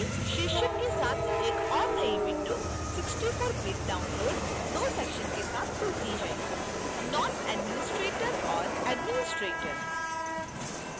शीर्षक के साथ एक और नई window 64bit download दो sections के साथ खुलती है